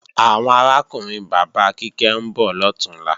Àwọn arákùnrin bàbá Kíkẹ́ ń bọ̀ lọ̀túnla